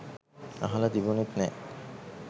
අහල තිබුනෙත් නෑ.